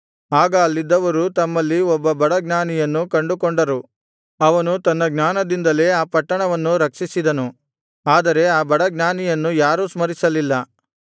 ಆಗ ಅಲ್ಲಿದ್ದವರು ತಮ್ಮಲ್ಲಿ ಒಬ್ಬ ಬಡ ಜ್ಞಾನಿಯನ್ನು ಕಂಡುಕೊಂಡರು ಅವನು ತನ್ನ ಜ್ಞಾನದಿಂದಲೇ ಆ ಪಟ್ಟಣವನ್ನು ರಕ್ಷಿಸಿದನು ಆದರೆ ಆ ಬಡ ಜ್ಞಾನಿಯನ್ನು ಯಾರೂ ಸ್ಮರಿಸಲಿಲ್ಲ